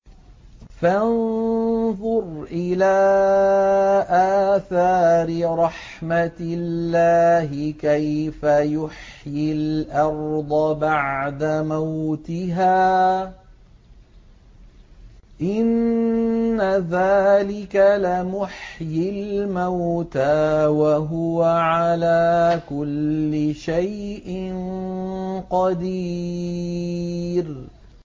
فَانظُرْ إِلَىٰ آثَارِ رَحْمَتِ اللَّهِ كَيْفَ يُحْيِي الْأَرْضَ بَعْدَ مَوْتِهَا ۚ إِنَّ ذَٰلِكَ لَمُحْيِي الْمَوْتَىٰ ۖ وَهُوَ عَلَىٰ كُلِّ شَيْءٍ قَدِيرٌ